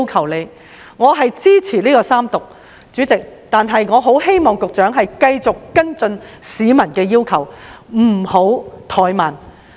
主席，我支持三讀《條例草案》，但同時極希望局長能繼續跟進市民的要求，不要怠慢。